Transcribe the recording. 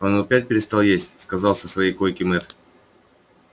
он опять перестал есть сказал со своей койки мэтт